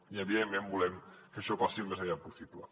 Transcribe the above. i evidentment volem que això passi al més aviat possible